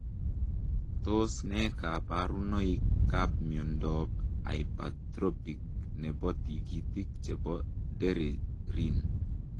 Tos ne kabarunoik ap miondoop Hapatropic nepoo tigitik chepo degerin